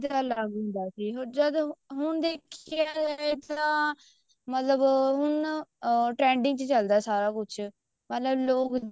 ਦਾ ਅਲੱਗ ਹੁੰਦਾ ਸੀ ਜਦ ਹੁਣ ਦੇਖਿਆ ਜਾਵੇ ਤਾਂ ਅਮ ਮਤਲਬ ਹੁਣ trending ਚ ਚੱਲਦਾ ਸਾਰਾ ਕੁੱਝ ਮਤਲਬ ਲੋਕ